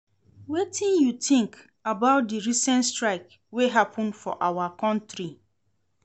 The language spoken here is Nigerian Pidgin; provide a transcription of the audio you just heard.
Wetin you think about di recent strike wey happen for our country?